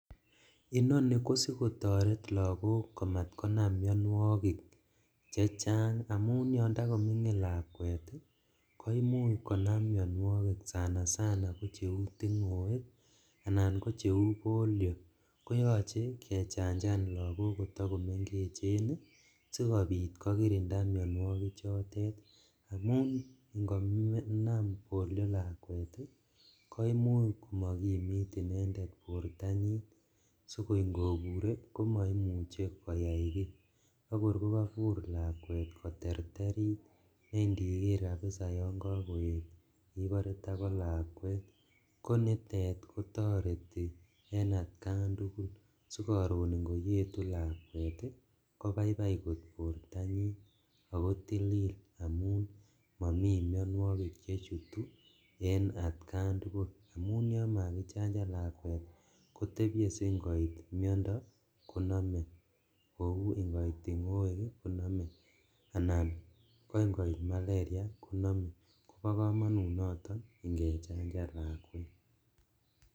Inoni ko sikotaret lagok komatkonam mianwogik chechang amun yon takomingin lakwet koimuch konam mianwogik sanasana ko cheu tingoek anan ko cheu polio. Koyoche kechanjan lagok kotagomengechen sigopit kokirinda mianwogik chotet amun ingonam polio lakwet, ko imuch komakimit inendet bortanyin. Sikoi ngobure komaimuche koyai kiy agor ko kabur lakwet koterterit ne ndiger kapisa yon kakoet ibare tago lakwet. Konitet kotareti en atkan tugul sigorun ingoyetu lakwet kobaibai kot bortanyin ago tilil amun momi mianwogik chechutu en atkan tugul. Amun yon makichanjan lakwet kotebye singoit miondo koname kou ingoit tingoek koname anan ko ingoit malaria koname. Kobo kamanut noton ingechanjan lakwet.